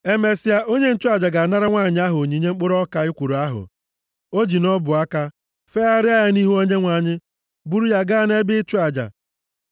Emesịa, onye nchụaja ga-anara nwanyị ahụ onyinye mkpụrụ ọka ekworo ahụ o ji nʼọbụaka ya, fegharịa ya nʼihu Onyenwe anyị, buru ya gaa nʼebe ịchụ aja.